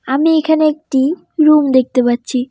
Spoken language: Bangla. আমি এখানে একটি রুম দেখতে পাচ্ছি।